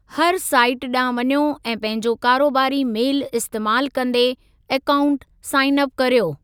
हर साईट ॾांहुं वञो ऐं पंहिंजो कारोबारी मेलु इस्तेमालु कन्दे अकाऊंट साइन अप कर्यो।